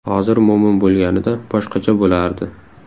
Hozir Mo‘min bo‘lganida, boshqacha bo‘lardi.